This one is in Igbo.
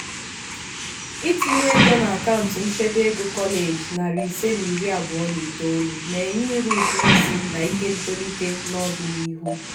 itinye ego n'akaụntụ nchebe ego kọleji narị ise na iri abụọ na itolu na-enye uru ụtụ isi na ike ntolite n'ọdịnihu.